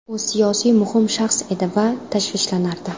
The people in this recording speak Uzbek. U siyosiy muhim shaxs edi va tashvishlanardi.